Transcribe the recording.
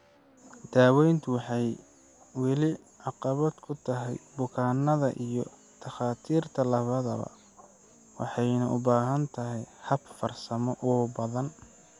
Daaweyntu waxay weli caqabad ku tahay bukaannada iyo takhaatiirta labadaba, waxayna u baahan tahay hab farsamo oo badan.